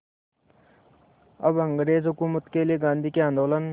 अब अंग्रेज़ हुकूमत के लिए गांधी के आंदोलन